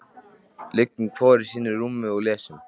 Liggjum hvor í sínu rúmi og lesum.